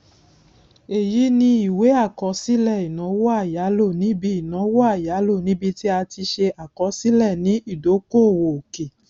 èyí ni iwe àkọsílẹ ìnáwó àyálò níbi ìnáwó àyálò níbi tí a ti ṣe àkọsílẹ ni ìdókòwò òkè